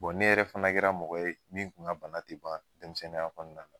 ne yɛrɛ fana kɛra mɔgɔ ye min kun ka bana tɛ ban denmisɛnninya kɔnɔna na.